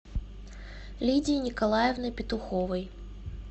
лидии николаевны петуховой